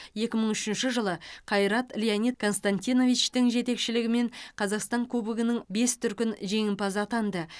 екі мың үшінші жылы қайрат леонид константиновичтің жетекшілігімен қазақстан кубогының бес дүркін жеңімпазы атанды